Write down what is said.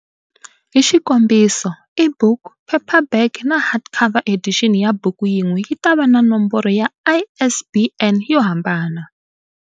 Hi xikombiso, e-book, paperback na hardcover edition ya buku yin'we yi ta va na nomboro ya ISBN yo hambana.